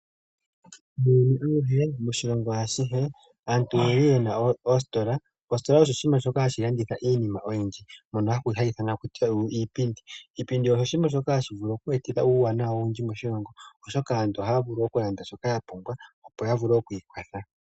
Moshilongo ashihe aantu oyeli yena oositola. Oositola osho oshinima shoka hashi landitha iinima oyindji mbyoka hayi ithanwa iipindi. Iipindi ohayi eta uuwanawa moshilongo oshoka aantu ohaya vulu okulanda iinima mbyoka ya pumbwa, opo ya vule okwiikwatha.